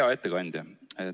Hea ettekandja!